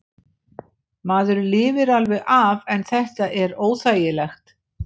Maður lifir alveg af en þetta er óþægilegt.